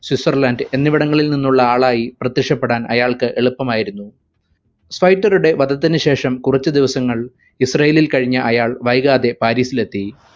Switzerland എന്നിവിടങ്ങളിൽ നിന്നുള്ള ആളായി പ്രത്യക്ഷപ്പെടാൻ അയാൾക്ക് എളുപ്പമായിരുന്നു. സ്വൈറ്ററുടെ വധത്തിനു ശേഷം കുറച്ചു ദിവസങ്ങൾ ഇസ്രായേലിൽ കഴിഞ്ഞ അയാൾ വൈകാതെ പാരിസിലെത്തി.